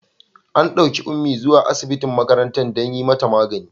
An ɗauki Ummi zuwa asibitin makarantar don yi mata magani.